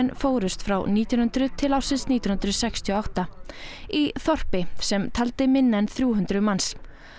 fórust frá nítján hundruð til ársins nítján hundruð sextíu og átta í þorpi sem taldi minna en þrjú hundruð manns